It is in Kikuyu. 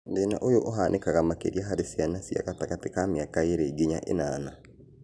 Thĩna ũyũ ũhanĩkaga makĩria harĩ ciana cia gatagatĩ ka mĩaka ĩrĩ nginya ĩnana